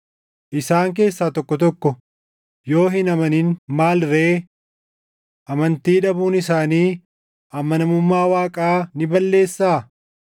Isaan keessaa tokko tokko yoo hin amanin maal ree? Amantii dhabuun isaanii amanamummaa Waaqaa ni balleessaa?